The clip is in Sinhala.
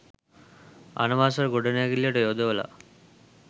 අනවසර ගොඩනැගිල්ලට යොදවලා